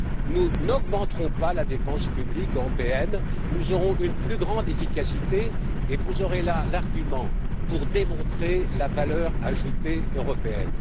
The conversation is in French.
Nous n'augmenterons donc pas la dépense publique européenne, nous aurons une plus grande efficacité et vous aurez là l'argument pour démontrer la valeur ajoutée européenne.